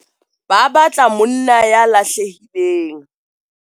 Ba batla monna ya lahlehileng.